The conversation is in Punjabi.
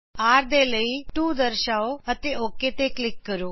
r ਦੇ ਲਈ 2 ਦਰਸ਼ਾਓ ਅਤੇ ਓਕ ਤੇ ਕਲਿਕ ਕਰੋ